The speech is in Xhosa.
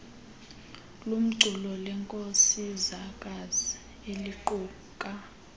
lomculo lenkosikazi eliquka